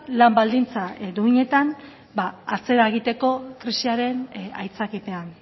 lan baldintza duinetan atzera egiteko krisiaren aitzakipean